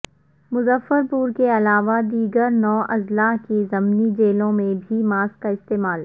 مظفر پور کے علاوہ دیگر نو اضلاع کی ضمنی جیلوں میں بھی ماسک کا استعمال